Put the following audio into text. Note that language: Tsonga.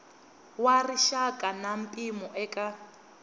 wa rixaka na mpimo eka